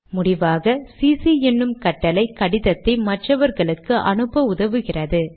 முடிவாக சிசி என்னும் கட்டளை கடிதத்தை மற்றவர்களுக்கும் அனுப்ப உதவுகிறது